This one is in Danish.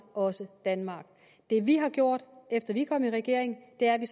også danmark det vi har gjort efter vi er kommet i regering er at vi